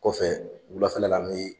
Kɔfɛ wulafɛla la an bɛ